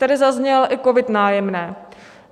Tady zazněl i COVID - Nájemné.